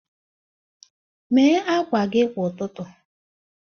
Mee akwa gị kwa ụtụtụ.